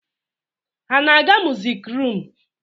Ha na-aga musik rum?